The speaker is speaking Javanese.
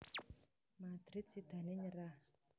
Madrid sidané nyerah